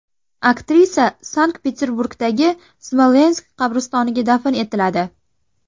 Aktrisa Sankt-Peterburgdagi Smolensk qabristoniga dafn etiladi.